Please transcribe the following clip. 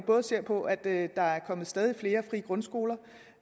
ser på at der er kommet stadig flere frie grundskoler og